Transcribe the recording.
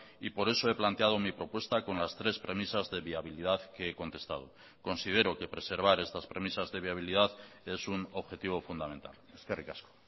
y por eso he planteado mi propuesta con las tres premisas de viabilidad que he contestado considero que preservar estas premisas de viabilidad es un objetivo fundamental eskerrik asko